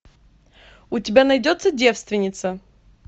у тебя найдется девственница